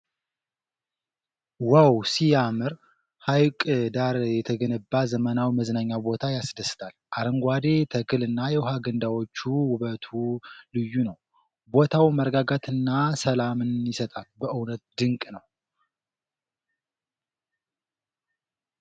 ዋው ሲያምር! ሀይቅ ዳር የተገነባው ዘመናዊ መዝናኛ ቦታ ያስደስታል !!። አረንጓዴው ተክል እና የውሃ ገንዳዎቹ ውበቱ ልዩ ነው ። ቦታው መረጋጋትና ሰላምን ይሰጣል ፤ በእውነትም ድንቅ ነው!።